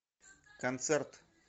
концерт